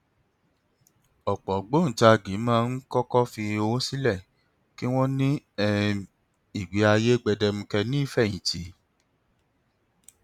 ọpọ ògbóǹkangí máa ń kọkọ fi owó sílẹ kí wọn ní um ìgbé ayé gbẹdẹmukẹ ní ìfẹyìntì